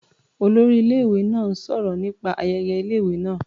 Olórí ilé-ìwé náà ń sọ̀rọ̀ nípa ayẹyẹ ilé-ìwé náá.